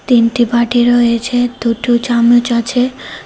তিনটি বাটি রয়েছে দুটো চামচ আছে।